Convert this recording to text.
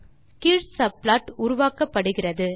கீழ் சப்ளாட் உருவாக்கப் படுகிறது